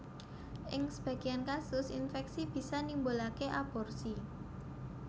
Ing sebagéyan kasus infèksi bisa nimbulaké aborsi